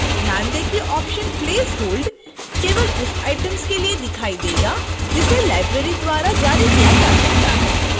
ध्यान दें कि option place hold केवल उस items के लिए दिखाई देगा जिसे library द्वारा जारी किया जा सकता है